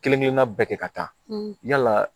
Kelen kelenna bɛɛ kɛ ka taa yala